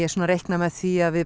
reikna með því að við